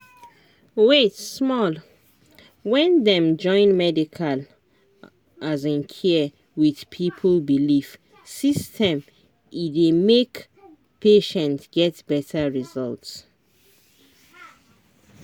wait small — when dem join medical um care with people belief system e dey make patient get better result.